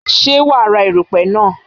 Ṣé wa ra èrùpè náà?